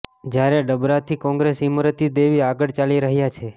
જ્યારે ડબરાથી કોંગ્રેસ ઇમરતી દેવી આગળ ચાલી રહ્યા છે